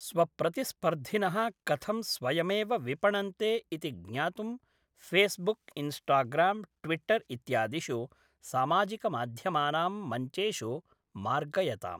स्वप्रतिस्पर्धिनः कथं स्वयमेव विपणन्ते इति ज्ञातुं फ़ेस्बुक्, इन्स्टाग्राम्, ट्विटर् इत्यादिषु सामाजिकमाध्यमानां मञ्चेषु मार्गयताम्।